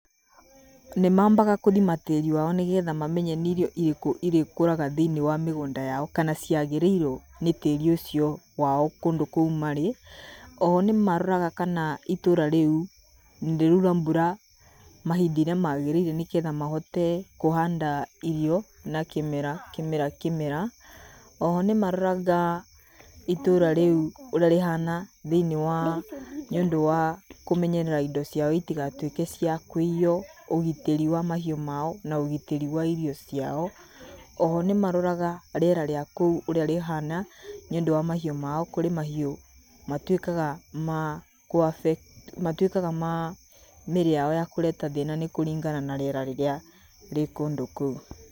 Nĩmambaga gũthima tĩĩri wao nĩgetha mamenye nĩirio irĩkũ irĩkũraga thĩiniĩ wa mĩgũnda yao kana ciagĩrĩirwo nĩtĩĩri wao kũndũ kũu marĩ oho nĩmaroraga itũra rĩraura mbura mahinda marĩa magĩrĩire nĩgetha mahote kũhanda irio na kĩmera kĩmera. Oho nĩmaroraga itũũra rĩu ũrĩa rĩhana thĩiniĩ wa nĩũndũ wakũmeyerera indo ciao itigatuĩke ciakũiywo ũgitĩri wa mahiũ mao na gitĩri wa irio ciao. Oho nĩmaroraga rĩera rĩa kũu ũrĩa rĩhana nĩũndũ wamahiũ mao kũrĩ mahiũ matuĩkaga ma kũ afectwo, matuĩkaga ma mĩĩrĩ yao kũreta thĩna kũringana na rĩera rĩrĩa rĩkũndũ kũu.